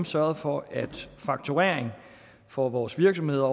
sørget for at fakturering for vores virksomheder